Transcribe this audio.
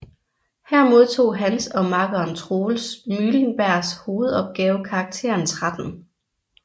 Her modtog hans og makkeren Troels Mylenbergs hovedopgave karakteren 13